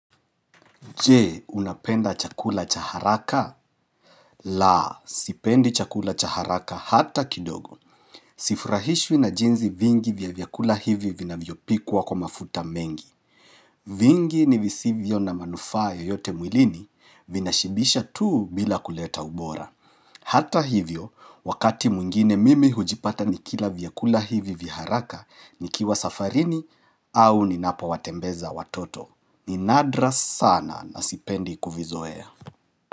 Je, unapenda chakula cha haraka? La, sipendi chakula chaharaka hata kidogo. Sifurahishwi na jinzi vingi vya vyakula hivi vina vyopikuwa kwa mafuta mengi. Vingi ni visivyo na manufaa yeyote mwilini vina shibisha tuu bila kuleta ubora. Hata hivyo, wakati mwngine mimi hujipata nikila vyakula hivi vya haraka ni kiwa safarini au ninapo watembeza watoto. Ninadra sana na sipendi kuvizoea.